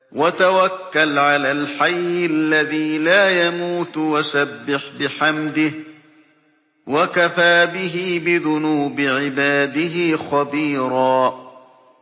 وَتَوَكَّلْ عَلَى الْحَيِّ الَّذِي لَا يَمُوتُ وَسَبِّحْ بِحَمْدِهِ ۚ وَكَفَىٰ بِهِ بِذُنُوبِ عِبَادِهِ خَبِيرًا